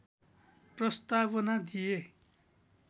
प्रस्तावना दिए